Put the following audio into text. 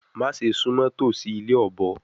Ma Se sumo tosi ile obo